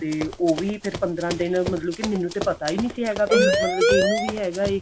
ਤੇ ਉਹ ਵੀ ਫਿਰ ਪੰਦਰਾਂ ਦਿਨ ਮਤਲਬ ਕੀ ਮੈਨੂੰ ਤੇ ਪਤਾ ਹੀ ਨਹੀਂ ਸੀ ਹੈਗਾ ਕੀ ਮਤਲਬ ਕੀ ਇਹਨੂੰ ਵੀ ਹੈਗਾ ਏ